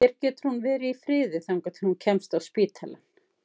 Hér getur hún verið í friði þangað til hún kemst á spítalann.